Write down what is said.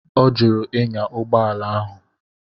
Ọ jụrụ ịnya ụgbọala ahụ.